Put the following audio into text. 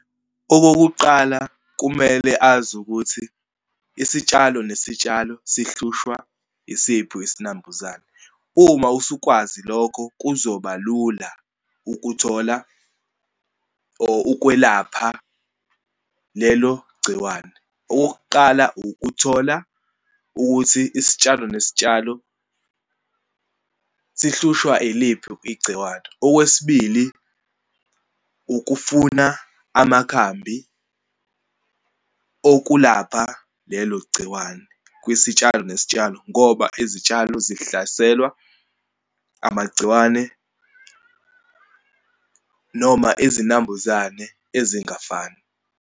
Okokuqala, kumele azi ukuthi isitshalo nesitshalo sihlushwa isiphi isinambuzane. Uma usukwazi lokho, kuzoba lula ukuthola or ukwelapha lelo gciwane. Okokuqala, ukuthola ukuthi isitshalo nesitshalo sihlushwa iliphi igciwane. Okwesibili, ukufuna amakhambi okulapha lelo gciwane kwisitshalo nesitshalo. Ngoba izitshalo zihlaselwa amagciwane noma izinambuzane ezingafani.